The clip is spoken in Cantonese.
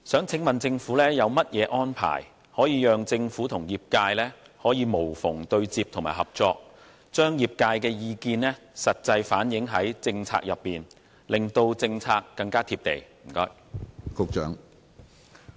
請問政府有何安排，讓政府可與業界無縫對接和合作，切實地在政策中反映業界的意見，令政策更貼地？